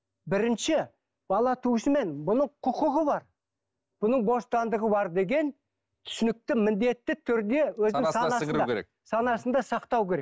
бірінші бала туысымен бұның құқығы бар бұның бостандығы бар деген түсінікті міндетті түрде өзінің санасына сіңіру керек санасында сақтау керек